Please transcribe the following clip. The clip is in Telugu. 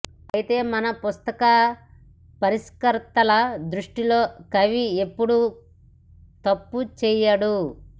అయితే మన పుస్తక పరిష్కర్తల దృష్టిలో కవి ఎప్పుడూ తప్పు చేయడు